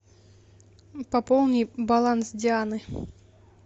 пополни баланс дианы